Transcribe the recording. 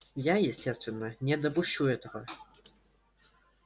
я естественно не допущу этого